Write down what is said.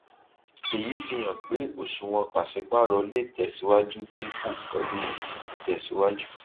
èyí fi hàn pé òṣùwọn pàsípàrọ lè tẹsíwájú dínkù pẹlú ìtẹsíwájú